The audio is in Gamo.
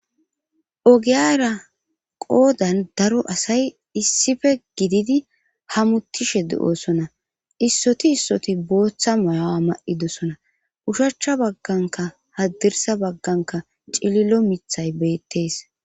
ogiyara qoodan daro asay issife gididi hamuttishe de7oosona issoti issoti booththa moyawa ma7idosona ushachcha bagganka haddirsa bagganka cililo mithay beettees